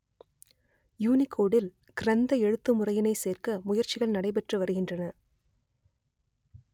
யூனிகோடில் கிரந்த எழுத்துமுறையினை சேர்க்க முயற்சிகள் நடைபெற்றுவருகின்றன